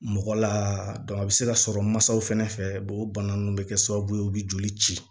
Mɔgɔ la a bɛ se ka sɔrɔ mansaw fɛnɛ fɛ o bana ninnu bɛ kɛ sababu ye u bɛ joli ci